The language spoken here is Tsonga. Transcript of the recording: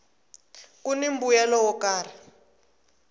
kuni mbuyelo wo karhi